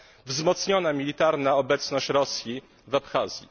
wzmocniona militarna obecność Rosji w Abchazji.